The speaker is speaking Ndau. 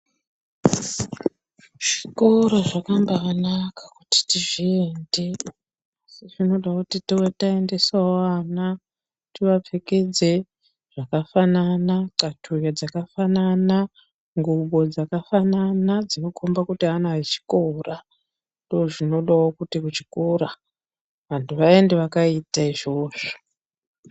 Zvikoro zvambaanaka kuti tizviende. Asi zvinoda kuti tiendesewo vana tivapfekedze zvakafanana, xatuya dzakafanana, ngubo dzakafanana dzinokomba kuti ana echikora. Ndoozvinodawo kuti muchikora vantu vaende vakaita izvozvo.